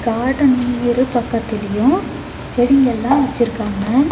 Garden இரு பக்கத்துலயு செட்டிங்க எல்லா வச்சிருக்காங்க.